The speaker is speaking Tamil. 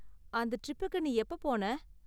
அந்த ட்ரிப்புக்கு நீ எப்ப போன?